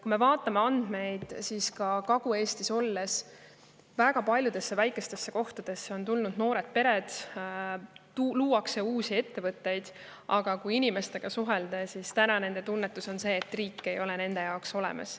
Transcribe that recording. Kui me vaatame teatud andmeid, siis näiteks Kagu-Eesti väga paljudesse väikestesse kohtadesse on tulnud noored pered ja luuakse uusi ettevõtteid, aga kui inimestega suhelda, siis on nende tunnetus see, et riik ei ole nende jaoks olemas.